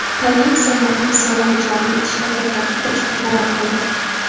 Tailand sayyohlik solig‘i joriy etishni to‘xtatib turishga qaror qildi.